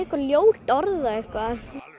ljót orð og eitthvað